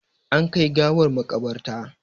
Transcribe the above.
An kai gawar maƙabarta.